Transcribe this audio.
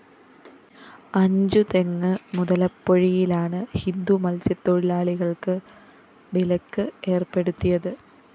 അഞ്ചുതെങ്ങ് മുതലപ്പൊഴിയിലാണ് ഹിന്ദു മത്സ്യത്തൊഴിലാളികള്‍ക്ക് വിലക്ക് ഏര്‍പ്പെടുത്തിയത്